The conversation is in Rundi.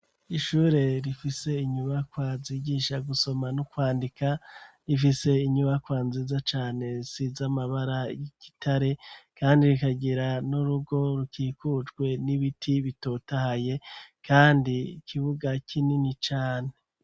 Ishure, rifise inyubakwa, zigisha gusoma n'ukwandika, rifise inyubakwa nziza cane; isize amabara y'igitare, kandi rikagira n'urugo, rukikujwe n'ibiti, bitotahaye, kandi ikibuga, kinini cane.